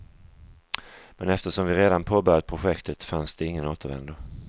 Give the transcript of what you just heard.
Men eftersom vi redan påbörjat projektet fanns det ingen återvändo.